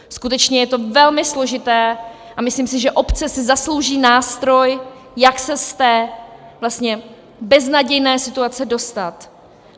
Skutečně je to velmi složité a myslím si, že obce si zaslouží nástroj, jak se z té beznadějné situace dostat.